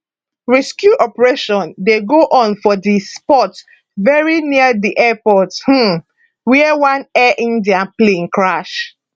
rescue operation dey go on for di spot very near di airport um wia one air india plane crash